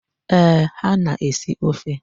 Eeh, ha na-esi ofe.